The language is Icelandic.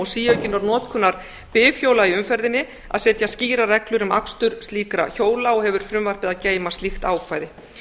síaukinnar notkunar bifhjóla í umferðinni að setja skýrar reglur um akstur slíkra hjóla hefur frumvarpið að geyma slíkt ákvæði